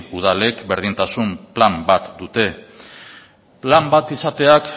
udalek berdintasun plan bat dute plan bat izateak